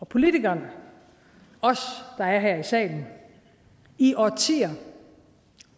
politikerne os der er her i salen i årtier